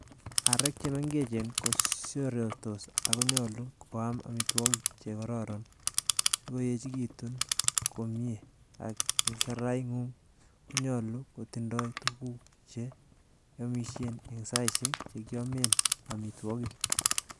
Aarek che mengechen ko siorortos, ak konyolu ko am amitwogik che kororoon sikoyechekitun komie ak keseraingung konyolu kotindoi tuguk che kiomisien en saisiek chekiomen amitwogik.